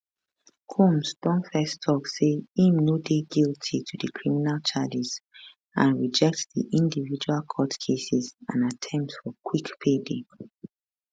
combs don first tok say im no dey guilty to di criminal charges and reject di individual court cases and attempt for quick payday